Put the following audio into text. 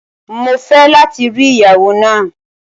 Mo fẹ lati ri iyawo naa!